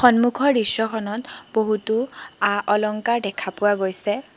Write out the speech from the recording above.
সন্মুখৰ দৃশ্যখনত বহুতো আ-অলংকাৰ দেখা গৈছে।